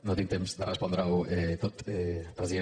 no tinc temps de respondre ho tot president